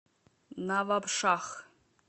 навабшах